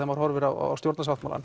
maður horfir á stjórnarsáttmálann